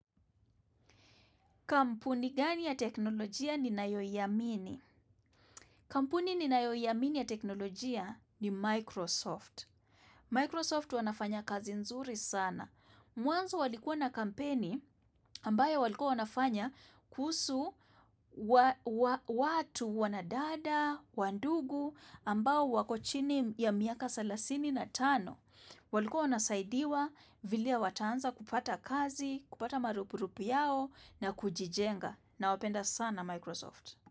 Kampuni gani ya teknolojia ninayo iamini? Kampuni ninayo iamini ya teknolojia ni Microsoft. Microsoft wanafanya kazi nzuri sana. Mwanzo walikuwa na kampeni ambayo walikuwa wanafanya kuhusu watu wanadada, wandugu ambao wako chini ya miaka salasini na tano. Walikuwa wasaidiwa vile wataanza kupata kazi, kupata marupurupu yao na kujitenga. Nawapenda sana Microsoft.